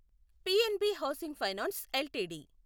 PNB housing finance LTD